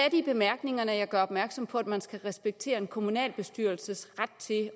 i bemærkningerne jeg gør opmærksom på at man skal respektere en kommunalbestyrelses ret til at